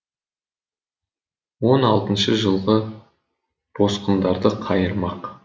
он алтыншы жылғы босқындарды қайырмақ